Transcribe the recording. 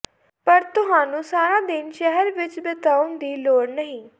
ਪਰ ਤੁਹਾਨੂੰ ਸਾਰਾ ਦਿਨ ਸ਼ਹਿਰ ਵਿੱਚ ਬਿਤਾਉਣ ਦੀ ਲੋੜ ਨਹੀਂ